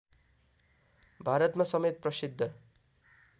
भारतमा समेत प्रसिद्ध